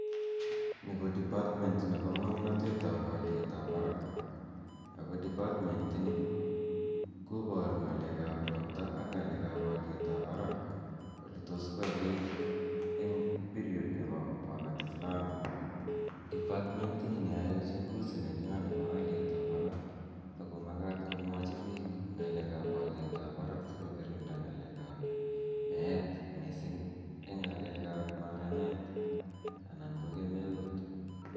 Ni ko department nepo ng'amnatet ap aliet ap parak. Ako department ini kpparu ng'alek ap ropta ak ng'alek ap aliet ap parak ole tos koaikait eng' period nepo wakati flani. Department ini ne yae uchunguzi nenywa nepo aliet ap parak ako makat kemwachi pik ng'alek ap aliet ap parak asikokirinda ng'alek ap meet missing' eng' ng'alek ap maranet anan ko kemeut.